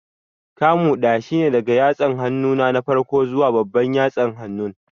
Kamu ɗaya shine daga yatsan hannu na farko zuwa babban yatsa hannun